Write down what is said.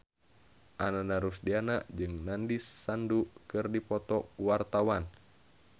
Ananda Rusdiana jeung Nandish Sandhu keur dipoto ku wartawan